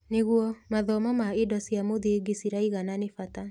Nĩguo, mathomo na indo cia mũthingi ciraigana nĩ bata.